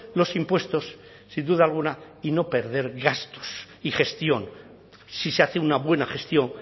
los impuestos sin duda alguna y no perder gastos y gestión si se hace una buena gestión